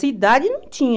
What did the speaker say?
Cidade não tinha.